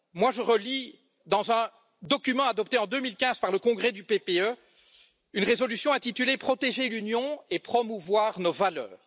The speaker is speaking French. Je relis dans un document adopté en 2015 par le congrès du PPE une résolution intitulée Protéger l'Union et promouvoir nos valeurs.